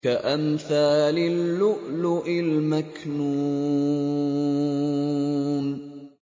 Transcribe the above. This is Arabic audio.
كَأَمْثَالِ اللُّؤْلُؤِ الْمَكْنُونِ